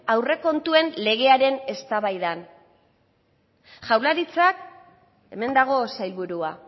aurrekontuen legearen eztabaidan jaurlaritzak hemen dago sailburua